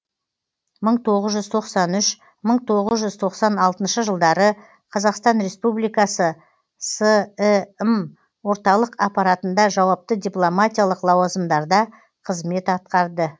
мың тоғыз жүз тоқсан үшінші мың тоғыз жүз тоқсан алтыншы жылдары қазақстан республикасы сім орталық аппаратында жауапты дипломатиялық лауазымдарда қызмет атқарды